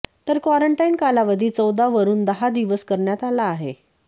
तर क्वारंटाईन कालावधी चौदा वरून दहा दिवस करण्यात आला आहे